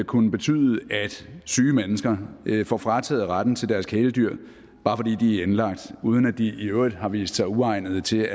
kunne betyde at syge mennesker får frataget retten til deres kæledyr bare fordi de er indlagt uden at de i øvrigt har vist sig uegnede til